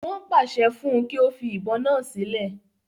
Wọ́n pàṣẹ fún un kí ó fi ìbọn náà sílẹ̀